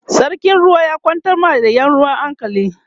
sarkin ruwa ya kwantar wa da Yan ruwan hankali